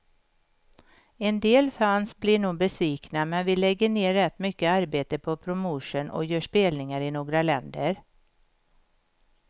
En del fans blir nog besvikna, men vi lägger ner rätt mycket arbete på promotion och gör spelningar i några länder.